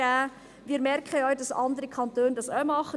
Wir merken ja, dass es andere Kantone auch tun.